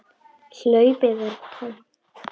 Hlaupið er tómt.